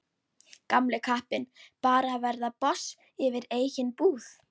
Gamli kappinn bara að verða boss yfir eigin búð.